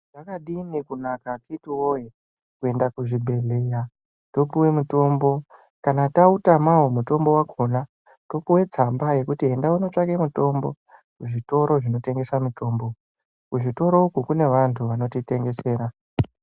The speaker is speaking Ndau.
Zvakadini kunaka akhiti woye kwenda kuzvibhedhlera topuwe mitombo kana tautamawo utombo wakhona topuwe tsamba yekuti enda wootsvake mutombo kuzvitoro zvinotengesa mitombo. Kuzvitoroko kune vantu vanotitengesera.